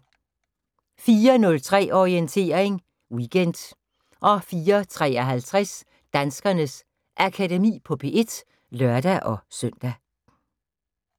04:03: Orientering Weekend 04:53: Danskernes Akademi på P1 (lør-søn)